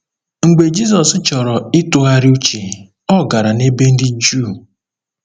Mgbe Jizọs chọrọ ịtụgharị uche, ọ gara n’ebe dị jụụ.